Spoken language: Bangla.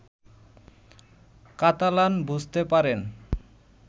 কাতালান বুঝতে পারেন